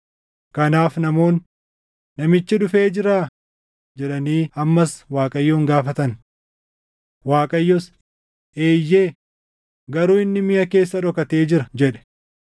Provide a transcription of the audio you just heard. Kanaaf namoonni, “Namichi dhufee jiraa?” jedhanii ammas Waaqayyoon gaafatan. Waaqayyos, “Eeyyee; garuu inni miʼa keessa dhokatee jira” jedhe.